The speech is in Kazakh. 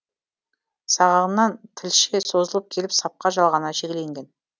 сағағынан тілше созылып келіп сапқа жалғана шегеленген